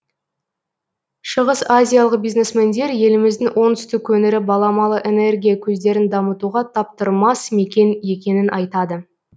шығыс азиялық бизнесмендер еліміздің оңтүстік өңірі баламалы энергия көздерін дамытуға таптырмас мекен екенін айтады